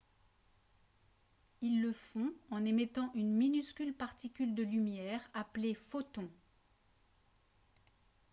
ils le font en émettant une minuscule particule de lumière appelée « photon »